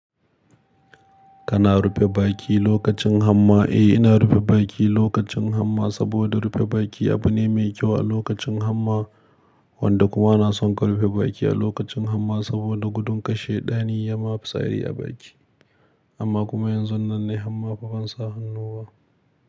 Kana rufe baki lokacin hamma? Eh, ina rufe baki lokacin hamma saboda rufe baki abu ne mai kyau a lokacin hamma, wanda kuma na son ka rufe baki a lokacin hamma saboda gudun kar shaiɗani, yama fitsari a baki. Amma kuma yanzu nan nayi hamma fa ban sa hannu ba.